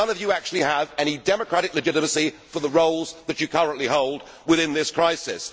None of you actually have any democratic legitimacy for the roles that you currently hold within this crisis.